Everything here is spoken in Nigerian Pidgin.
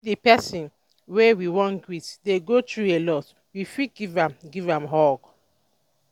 if di person wey we wan greet dey go through alot we fit give am give am hug